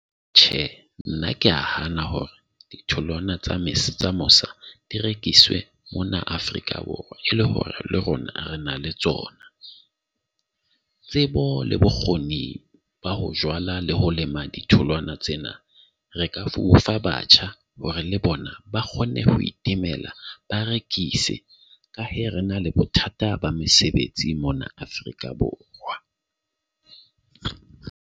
Tjhe, nna ke a hana hore ditholwana tsa Ms Mosia di rekiswe mona Afrika Borwa e le hore le rona re na le tsona. Tsebo le bokgoni ba ho jwala le ho lema ditholwana tsena re ka fofa batjha hore le bona ba kgone ho timela ba rekise. Ka he re na le bothata ba mesebetsi mona Afrika Borwa.